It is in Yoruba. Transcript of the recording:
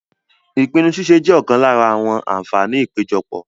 Ìpinnu ṣíṣe jẹ́ ọ̀kan lára àwọn àǹfààní ìpéjọpọ̀.